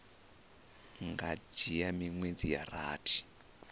nga dzhia miṅwedzi ya rathi